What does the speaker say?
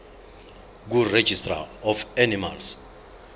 kuregistrar of animals